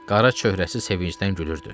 Qara çöhrəsi sevincdən gülürdü.